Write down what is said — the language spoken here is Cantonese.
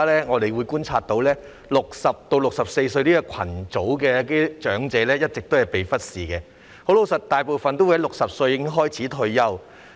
我們觀察到60歲至64歲的長者一直被忽視，其實大部分市民60歲便開始退休。